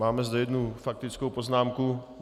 Mám zde jednu faktickou poznámku.